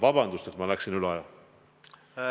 Vabandust, et ma läksin üle aja!